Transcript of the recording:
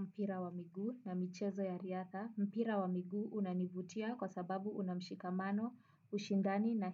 Mpira wa miguu na michezo ya riadha, mpira wa miguu unanivutia kwa sababu una mshikamano, ushindani na